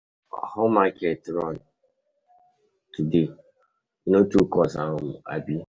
How your market run today? E no too cost,[um] abi?